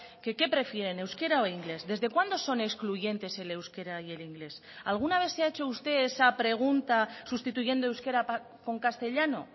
que qué prefieren euskera o inglés desde cuándo son excluyentes el euskera y el inglés alguna vez se ha hecho usted esa pregunta sustituyendo euskera con castellano